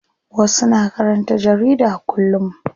Wasu na karanta jarida kullum.